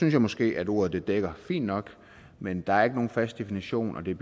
jeg måske at ordet dækker fint nok men der er ikke nogen fast definition og det er